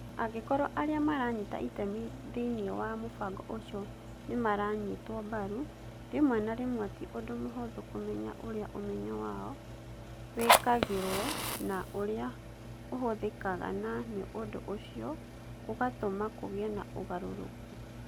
Angĩkorũo arĩa maranyita itemi thĩinĩ wa mũbango ũcio nĩ maranyitwo mbaru, Rĩmwe na rĩmwe ti ũndũ mũhũthũ kũmenya ũrĩa ũmenyo wao wĩkagĩrũo na ũrĩa ũhũthĩkaga na nĩ ũndũ ũcio gũgatũma kũgĩe na ũgarũrũku.